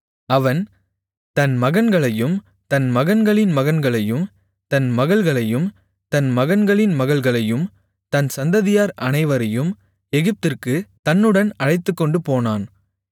அவன் தன் மகன்களையும் தன் மகன்களின் மகன்களையும் தன் மகள்களையும் தன் மகன்களின் மகள்களையும் தன் சந்ததியார் அனைவரையும் எகிப்திற்குத் தன்னுடன் அழைத்துக்கொண்டுபோனான்